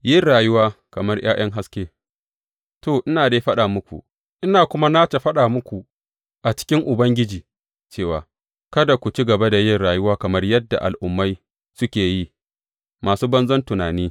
Yin rayuwa kamar ’ya’yan haske To, ina dai faɗa muku, ina kuma nace faɗa muku a cikin Ubangiji, cewa kada ku ci gaba da yin rayuwa kamar yadda Al’ummai suke yi, masu banzan tunani.